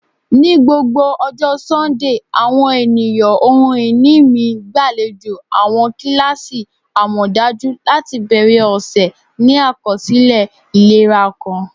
Ni gbogbo ọjọ Sundee, awọn eniyan ohun-ini mi gbalejo awọn kilasi amọdaju lati bẹrẹ ọsẹ ni akọsilẹ ilera kan.